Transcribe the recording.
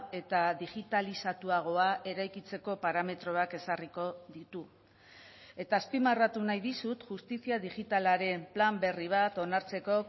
eta digitalizatuagoa eraikitzeko parametroak ezarriko ditu eta azpimarratu nahi dizut justizia digitalaren plan berri bat onartzeko